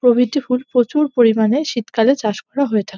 প্রভৃতি ফুল প্রচুর পরিমাণে শীতকালে চাষ করা হয়ে থাকে।